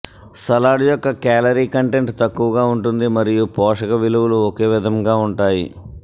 salad యొక్క calorie content తక్కువగా ఉంటుంది మరియు పోషక విలువలు ఒకే విధంగా ఉంటాయి